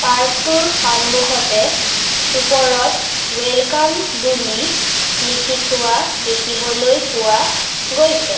Park টোৰ সন্মুখতে ওপৰত ৱেলকাম বুলি লিখি থোৱা দেখিবলৈ পোৱা গৈছে।